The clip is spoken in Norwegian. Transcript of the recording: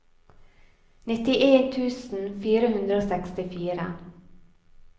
nittien tusen fire hundre og sekstifire